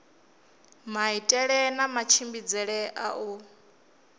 maitele na matshimbidzele a u